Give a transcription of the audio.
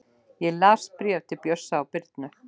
Ég las bréfin til Bjössa og Birnu.